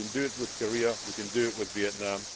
So if we can do it with Korea, we can do it with Vietnam.